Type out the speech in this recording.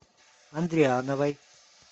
андриановой